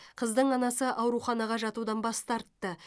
қыздың анасы ауруханаға жатудан бас тартты